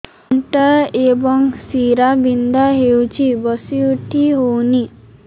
ଅଣ୍ଟା ଏବଂ ଶୀରା ବିନ୍ଧା ହେଉଛି ବସି ଉଠି ହଉନି